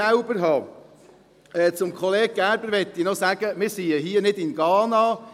Kollege Gerber möchte ich noch sagen: Wir sind ja hier nicht in Ghana.